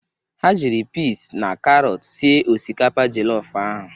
Ha jiri pịz na karọt sie osikapa jọlọf ahụ.